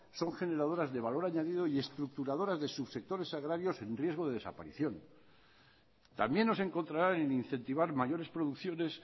son generadoras de valor añadido y estructuradoras de subsectores agrarios en riesgo de desaparición también nos encontraran en incentivar mayores producciones